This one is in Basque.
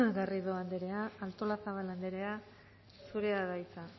garrido anderea artolazabal anderea zurea da hitza